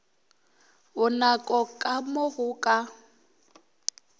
bonako ka mo go ka